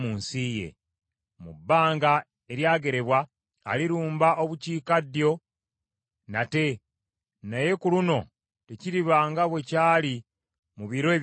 “Mu bbanga eryagerebwa, alirumba obukiikaddyo nate, naye ku luno tekiriba nga bwe kyali mu biro eby’olubereberye.